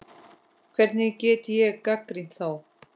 Hvernig get ég gagnrýnt þá?